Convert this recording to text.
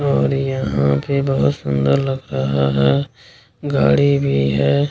और यहाँ आ के बहुत सुन्दर लग रहा है गाड़ी भी है।